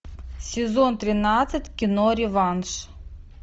сезон тринадцать кино реванш